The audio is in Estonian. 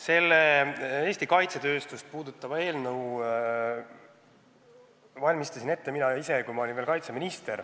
Selle Eesti kaitsetööstust puudutava eelnõu valmistasin ette mina ise, kui ma olin veel kaitseminister.